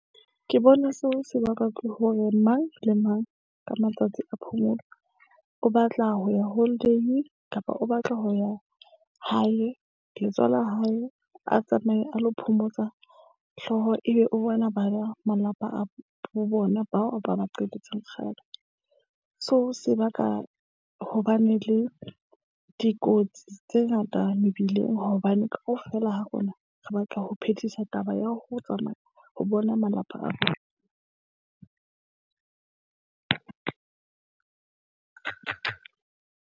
Ke bona seo se bakwa ke hore mang le mang ka matsatsi a phomolo o batla ho ya holiday kapa o batla ho ya hae. la hae a tsamaye a lo phomotsa hlooho ebe o bona ba malapa a bo bona bao a ba qetetseng kgale. Seo se baka hobane le dikotsi tse ngata mebileng hobane kaofela ha rona re batla ho phethisa taba ya ho tsamaya ho bona malapa a .